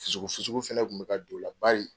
Fusugu fusugu fɛnɛ kun bɛ ka don o la bari.